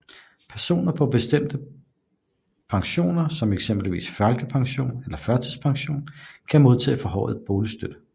Personer på bestemte pensioner som eksempelvis folkepension eller førtidspension kan modtage forhøjet boligstøtte